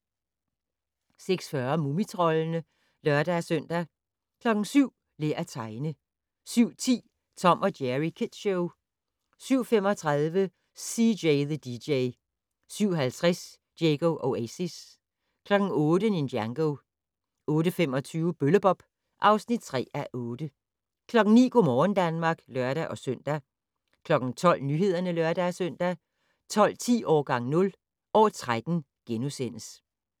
06:40: Mumitroldene (lør-søn) 07:00: Lær at tegne 07:10: Tom & Jerry Kids Show 07:35: CJ the DJ 07:50: Diego Oasis 08:00: Ninjago 08:25: Bølle-Bob (3:8) 09:00: Go' morgen Danmark (lør-søn) 12:00: Nyhederne (lør-søn) 12:10: Årgang 0 - år 13 *